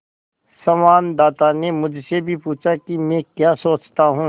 संवाददाता ने मुझसे भी पूछा कि मैं क्या सोचता हूँ